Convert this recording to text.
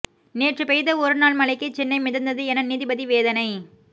நேற்று பெய்த ஒரு நாள் மழைக்கே சென்னை மிதந்தது என நீதிபதி வேதனை